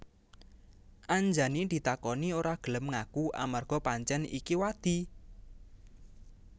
Anjani ditakoni ora gelem ngaku amarga pancèn iki wadi